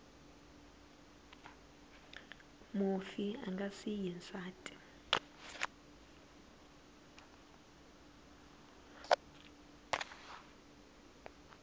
mufi a nga siyi nsati